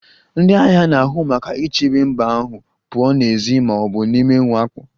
Ndị agha na-ahụ maka ichebe mba ahụ pụọ n'èzí ma ọ bụ n'ime mwakpo